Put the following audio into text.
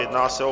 Jedná se o